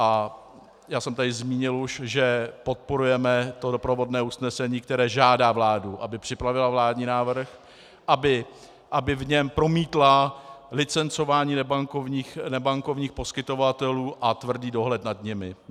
A já jsem tady už zmínil, že podporujeme to doprovodné usnesení, které žádá vládu, aby připravila vládní návrh, aby v něm promítla licencování nebankovních poskytovatelů a tvrdý dohled nad nimi.